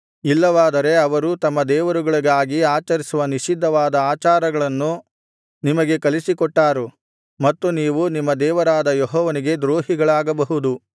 ಇಲ್ಲವಾದರೆ ಅವರು ತಮ್ಮ ದೇವರುಗಳಿಗಾಗಿ ಆಚರಿಸುವ ನಿಷಿದ್ಧವಾದ ಆಚಾರಗಳನ್ನು ನಿಮಗೆ ಕಲಿಸಿಕೊಟ್ಟಾರು ಮತ್ತು ನೀವು ನಿಮ್ಮ ದೇವರಾದ ಯೆಹೋವನಿಗೆ ದ್ರೋಹಿಗಳಾಗಬಹುದು